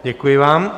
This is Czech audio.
Děkuji vám.